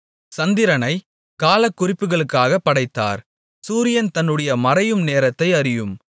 சந்திரனைக் காலக்குறிப்புகளுக்காகப் படைத்தார் சூரியன் தன்னுடைய மறையும் நேரத்தை அறியும்